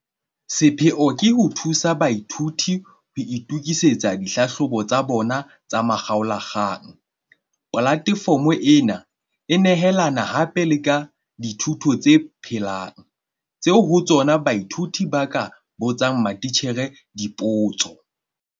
Sepheo ke ho thusa baithuti ho itokisetsa dihlahlobo tsa bona tsa makgaola kgang. Polatefomo ena e nehelana hape le ka dithuto tse phelang, tseo ho tsona baithuti ba ka botsang matitjhere dipotso.